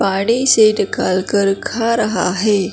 पानी से निकाल कर खा रहा है।